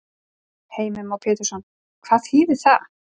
Heimir Már Pétursson: Hvað þýðir það?